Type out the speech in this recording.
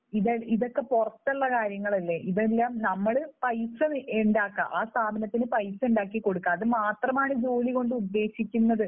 ഇതൊക്കെ പുറത്ത് പുറത്തുള്ള കാര്യങ്ങളല്ലേ? ഇതെല്ലാം നമ്മൾ പൈസ ഉണ്ടാക്കുക, ആ സ്ഥാപനത്തിന് പൈസ ഉണ്ടാക്കി കൊടുക്കുക. അതുമാത്രമാണ് ജോലി കൊണ്ട് ഉദ്ദേശിക്കുന്നത്.